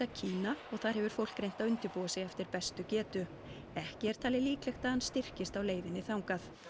Kína og þar hefur fólk reynt að undirbúa sig eftir bestu getu ekki er talið líklegt að hann styrkist á leiðinni þangað